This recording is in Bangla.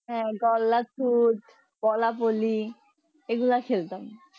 হ্যাঁ গোল্লার তুদ কোলা বলি এগুলা খেলতাম